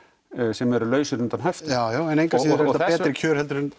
sem eru lausir undan höftum jájá en engu að síður á betri kjörum en